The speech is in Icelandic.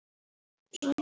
En tæki eru tæki.